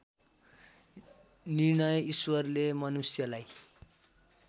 निर्णय ईश्वरले मनुष्यलाई